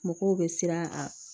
Mɔgɔw bɛ siran a